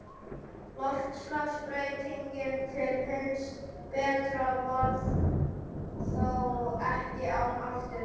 Loftslagsbreytingin til hins betra varð þó ekki án afturkippa.